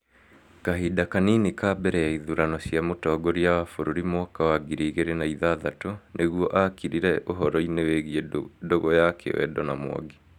kahĩnda kanini mbere ya ithurano cia mũtongoria wa bũrũri mwaka wa ngiri igĩrĩ na ithathatũ nĩguo akirire ũhoro-inĩ wĩgiĩ ndũgũ ya kĩwendo na Mwangi